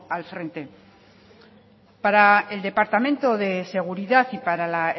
al frente para el departamento de seguridad y para la